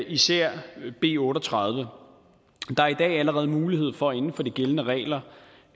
især b otte og tredive der er i dag allerede mulighed for inden for de gældende regler